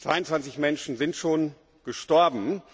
22 Menschen sind schon gestorben.